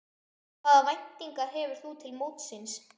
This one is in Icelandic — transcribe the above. Hvaða væntingar hefur þú til mótsins?